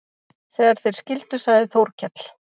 Þegar þeir skildu sagði Þórkell